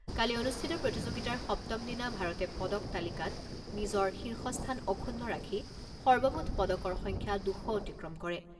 কালি অনুষ্ঠিত প্ৰতিযোগিতাৰ সপ্তম দিনা ভাৰতে পদক তালিকাত নিজৰ শীৰ্ষস্থান অক্ষুণ্ণ ৰাখি সৰ্বমুঠ পদকৰ সংখ্যা দুশ অতিক্ৰম কৰে।